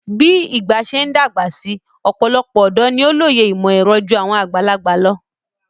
Bí ìgbà ṣe ń dàgbà si ọ̀pọ̀lọpọ̀ ọ̀dọ́ ni ó lóye ìmọ̀-ẹ̀rọ ju àwọn àgbàlagbà lọ.